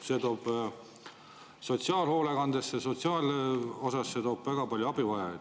See toob sotsiaalhoolekandesse, sotsiaal väga palju abivajajaid.